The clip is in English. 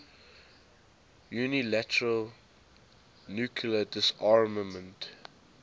unilateral nuclear disarmament